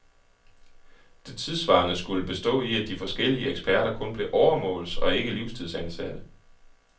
Det tidssvarende skulle bestå i, at de forskellige eksperter kun blev åremåls- og ikke livstidsansatte.